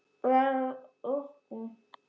Verður að vakna.